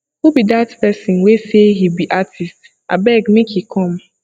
who be dat person wey say he be artist abeg make he come